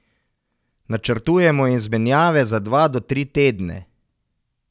Načrtujemo izmenjave za dva do tri tedne.